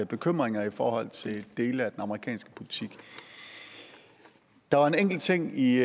bekymringer i forhold til dele af den amerikanske politik der var en enkelt ting i